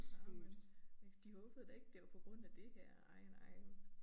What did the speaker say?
Nåh men de håbede da ikke det var på grund af det her ej nej